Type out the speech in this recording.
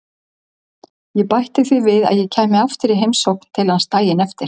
Ég bætti því við að ég kæmi aftur í heimsókn til hans daginn eftir.